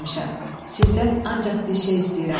Sizdən ancaq bir şey istəyirəm.